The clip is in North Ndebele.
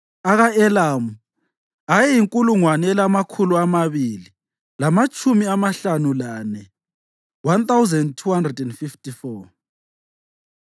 aka-Elamu ayeyinkulungwane elamakhulu amabili lamatshumi amahlanu lane (1,254),